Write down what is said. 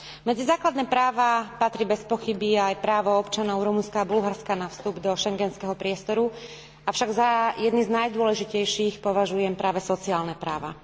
Medzi základné práva patrí bezpochyby aj právo občanov Rumunska a Bulharska na vstup do schengenského priestoru, avšak za jedny z najdôležitejších považujem práve sociálne práva.